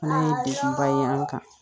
Fana ye degunba ye an kan